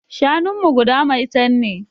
Shanunmu guda maitan ne.